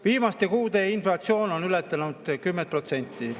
Viimaste kuude inflatsioon on ületanud 10%.